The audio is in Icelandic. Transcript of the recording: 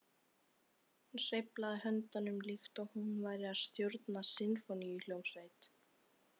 Hún sveiflaði höndunum líkt og hún væri að stjórna sinfóníuhljómsveit.